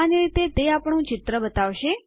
સામાન્ય રીતે તે આપણું ચિત્ર ત્યાં બતાવશે